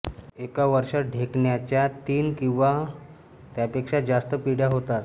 एका वर्षात ढेकणाच्या तीन किंवा त्यांपेक्षा जास्त पिढ्या होतात